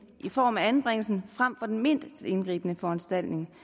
i form af anbringelse frem for den mindst indgribende foranstaltning